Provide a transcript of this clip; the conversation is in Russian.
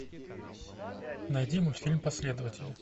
найди мультфильм последователи